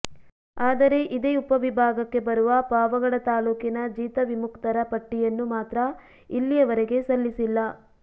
ಆದರೆ ಇದೇ ಉಪವಿಭಾಗಕ್ಕೆ ಬರುವ ಪಾವಗಡ ತಾಲ್ಲೂಕಿನ ಜೀತ ವಿಮುಕ್ತರ ಪಟ್ಟಿಯನ್ನು ಮಾತ್ರ ಇಲ್ಲಿಯವರೆಗೆ ಸಲ್ಲಿಸಿಲ್ಲ